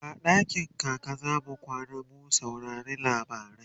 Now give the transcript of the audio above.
a dakin kaka zamu kwana mu saurari labarai